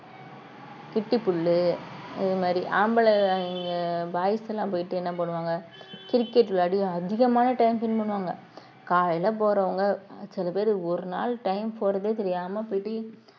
கிட்டிப்புல்லு இது மாதிரி ஆம்பளைங்க boys எல்லாம் போயிட்டு என்ன பண்ணுவாங்க cricket விளையாடி அதிகமான time spend பண்ணுவாங்க காலையிலே போறவங்க சில பேரு ஒரு நாள் time போறதே தெரியாம போயிட்டு